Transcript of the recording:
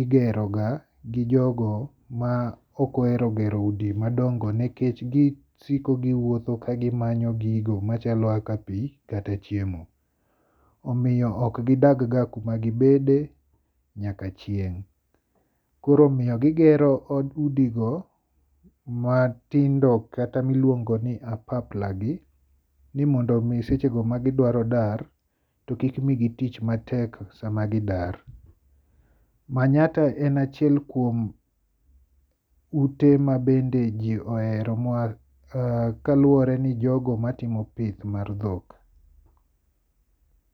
igero ga gijogo ma ok ohero gero udi madongo nikech gisiko giwuotho ka gimanyo gigo machalo kaka pi kata chiemo. Omiyo ok gidag ga kuma gibede nyaka chieng'. Koro omiyo gigero udigo matindo kata miluongo ni apapla gi ni mondo mi seche go magidwaro dar to kik migi tich matek sama gidar. Manyatta en achiel kuom ute mabende ji ohero kaluwore ni jogo matimo pith mar dhok.